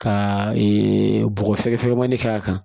Ka bɔgɔ fɛngɛ fɛnɲamanin k'a kan